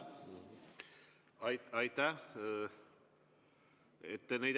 Aitäh!